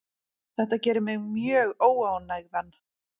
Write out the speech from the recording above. Þetta gerir mig mjög óánægðan.